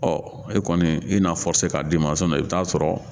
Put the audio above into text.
e kɔni i n'a k'a d'i ma i bɛ t'a sɔrɔ,